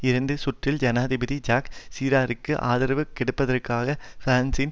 இரண்டாம் சுற்றில் ஜனாதிபதி ஜாக் சிராக்கிற்கு ஆதரவு கொடுப்பதற்காக பிரான்சின்